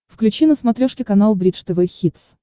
включи на смотрешке канал бридж тв хитс